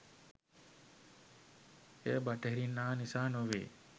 එය බටහිරින් ආ නිසා නොවේ